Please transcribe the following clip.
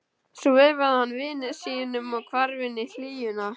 Svo veifaði hann vini sínum og hvarf inn í hlýjuna.